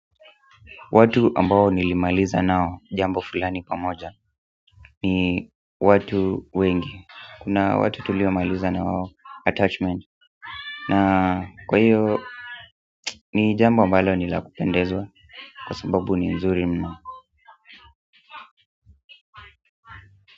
Watu ambao nilimaliza nao jambo fulani pamoja ni watu wengi kuna watu tuliomailiza na wao attachment na kwaiyo ni jambo ambalo ni la kupendezwa kwa sababu ni nzuri mno.